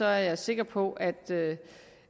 er jeg sikker på at